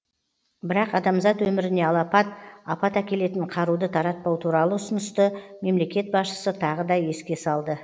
бірақ адамзат өміріне алапат апат әкелетін қаруды таратпау туралы ұсынысты мемлекет басшысы тағы да еске салды